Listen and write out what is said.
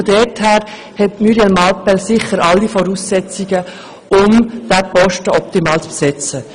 Muriel Mallepell erfüllt sicher alle Voraussetzungen, um diesen Posten optimal zu besetzen.